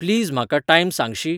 please म्हाका time सांगशीं